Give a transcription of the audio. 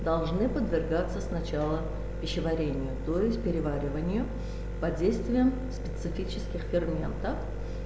должны подвергаться сначала пищеварению то есть перевариванию под действием специфических ферментов